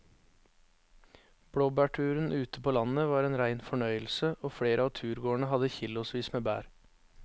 Blåbærturen ute på landet var en rein fornøyelse og flere av turgåerene hadde kilosvis med bær.